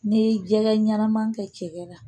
N'i ye jɛgɛ ɲɛnama kɛ cɛkɛ la